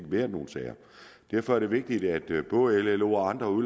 været nogen sager derfor er det vigtigt at både llo og andre